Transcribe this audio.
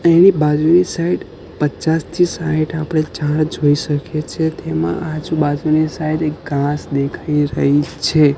તેની બાજુની સાઈડ પચાસ થી સાઈઠ આપણે ઝાડ જોઈ શકે છે તેમાં આજ બાજુની સાઈડ એક ઘાસ દેખાય રહી છે.